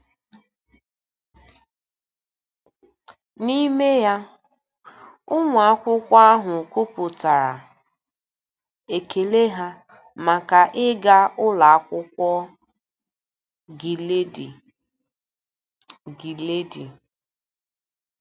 N’ime ya, ụmụ akwụkwọ ahụ kwupụtara ekele ha maka ịga Ụlọ Akwụkwọ Giledi. Giledi.